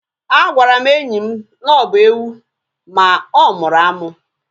A gwara m enyi m na ọ bụ ewu ma ọ mụrụ amụ